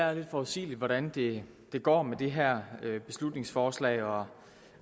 er lidt forudsigeligt hvordan det går med det her beslutningsforslag og